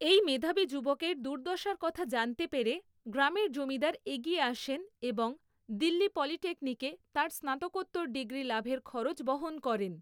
এই মেধাবী যুবকের দুর্দশার কথা জানতে পেরে গ্রামের জমিদার এগিয়ে আসেন এবং দিল্লী পলিটেকনিকে তাঁর স্নাতকোত্তর ডিগ্রী লাভের খরচ বহন করেন।